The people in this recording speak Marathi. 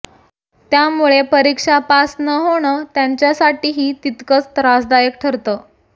त्यामुळे परीक्षा पास न होणं त्यांच्यासाठीही तितकंच त्रासदायक ठरतं